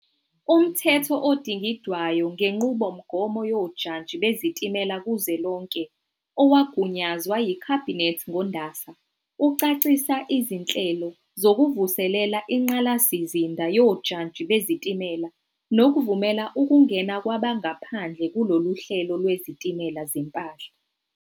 UMthetho Odingidwayo ngeNqubomgomo Yojantshi Bezitimela Kuzwelonke, owagunyazwa yiKhabhinethi ngoNdasa, ucacisa izinhlelo zokuvuselela ingqalasizinda yojantshi bezitimela nokuvumela ukungena kwabangaphandle kulolu hlelo lwezitimela zempahla.